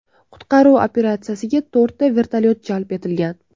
Qutqaruv operatsiyasiga to‘rtta vertolyot jalb etilgan.